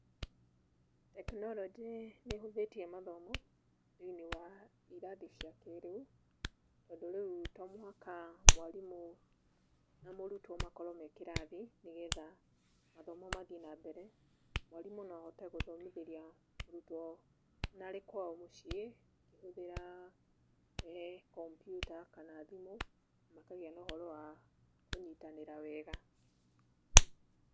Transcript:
Tekinoronjĩ nĩ ĩhũthĩtie mathomo thĩiniĩ wa irathi cia kĩĩrĩu, tondũ rĩu, to mũhaka mwarimũ na mũrutwo makorwo me kĩrathi nĩgetha mathomo mathiĩ na mbere. Mwarimũ no ahote gũthomithĩria mũrutwo ona arĩ kwao mũciĩ, akĩhũthĩra kompyuta kana thimũ na makagĩa na ũhoro wa kũnyitanĩra.